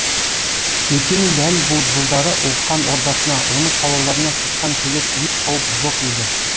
өйткені дәл бұл жылдары хан ордасына оның қалаларына сырттан келер еш қауіп жоқ еді